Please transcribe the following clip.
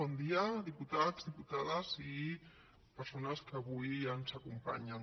bon dia diputats diputades i persones que avui ens acompanyen